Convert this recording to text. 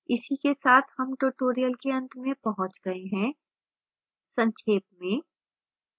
इसी के साथ हम tutorial के अंत में पहुँच गए हैं संक्षेप में